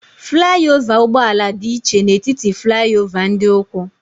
Fụlai ova ụgbọala dị iche n'etiti fụlai ova ndị ụkwụ.